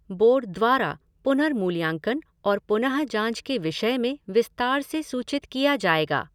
Board द्वारा पुनर्मूल्यांकन और पुनःजांच के विषय में विस्तार से सूचित किया जाएगा।